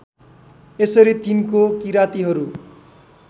यसरी तिनको किरातीहरू